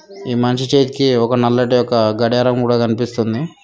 ఈ మనిషి చేతికి ఒక నల్లటి ఒక గడియారం కూడా కనిపిస్తుంది.